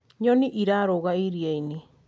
nyoni irarũga iriainĩ